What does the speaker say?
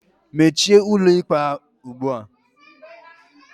Meche ụlọikpe ugbua.